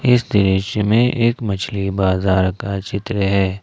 इस देश में एक मछली बाजार का चित्र है।